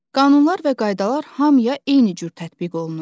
Qanunlar və qaydalar hamıya eyni cür tətbiq olunur.